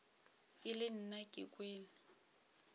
e le nna ke kwele